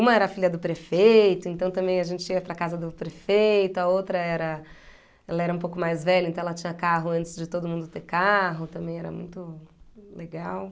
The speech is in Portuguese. Uma era filha do prefeito, então também a gente ia para a casa do prefeito, a outra era, ela era um pouco mais velha, então ela tinha carro antes de todo mundo ter carro, também era muito legal.